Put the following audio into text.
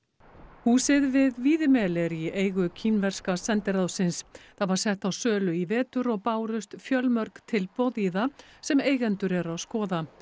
húsið við Víðimel er í eigu kínverska sendiráðsins það var sett á sölu í vetur og bárust fjölmörg tilboð í það sem eigendur eru að skoða